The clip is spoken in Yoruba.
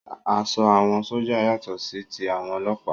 Aṣọ àwọn sójà yàtọ̀ sí ti àwọn ọlọ́ọ̀pá